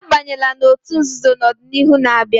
Abanyela n'otú nzuzo na ọdịnihu na-abịa!